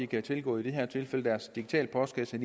kan tilgå i det her tilfælde deres digitale postkasse